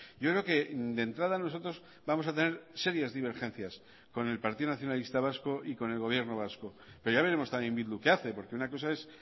yo creo que de entrada nosotros vamos a tener serias divergencias con el partido nacionalista vasco y con el gobierno vasco pero ya veremos también bildu qué hace porque una cosa es